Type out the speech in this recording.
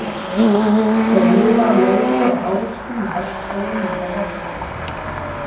Þeir lifa á laufi og ávöxtum í regnskógum Madagaskar.